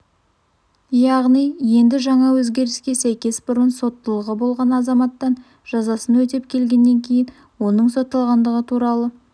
яғни енді жаңа өзгеріске сәйкес бұрын соттылығы болған азаматтан жазасын өтеп келгеннен кейін оның сотталғандығы туралы